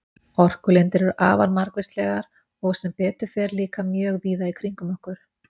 Orkulindir eru afar margvíslegar og sem betur fer líka mjög víða í kringum okkur.